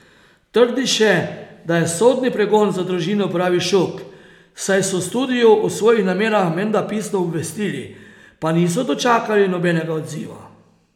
Trdi še, da je sodni pregon za družino pravi šok, saj so studio o svojih namerah menda pisno obvestili, pa niso dočakali nobenega odziva.